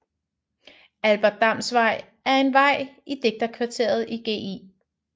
Albert Dams Vej er en vej i digterkvarteret i Gl